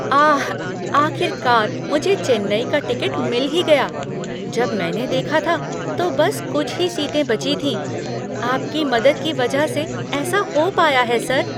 आह! आख़िरकार मुझे चेन्नई का टिकट मिल ही गया। जब मैंने देखा था, तो बस कुछ ही सीटें बची थीं। आपकी मदद की वजह से ऐसा हो पाया है, सर।